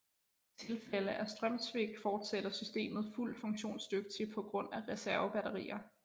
I tilfælde af strømsvigt fortsætter systemet fuldt funktionsdygtig på grund af reservebatterier